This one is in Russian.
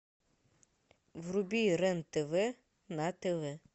вруби рен тв на тв